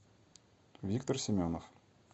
виктор семенов